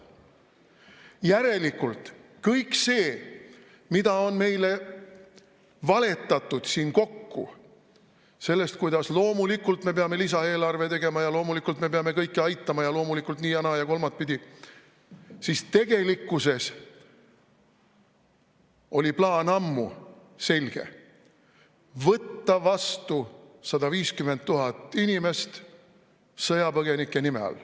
Järelikult kõik see, mida on meile valetatud siin kokku sellest, kuidas loomulikult me peame lisaeelarve tegema ja loomulikult me peame kõiki aitama ja loomulikult nii ja naa ja kolmatpidi, siis tegelikkuses oli plaan ammu selge: võtta vastu 150 000 inimest sõjapõgenike nime all.